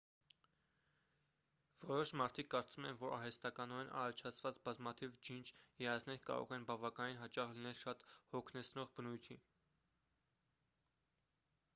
որոշ մարդիկ կարծում են որ արհեստականորեն առաջացված բազմաթիվ ջինջ երազներ կարող են բավականին հաճախ լինել շատ հոգնեցնող բնույթի